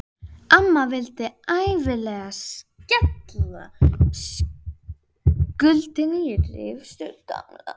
Amma vildi ævinlega skella skuldinni á ritstörf Gamla.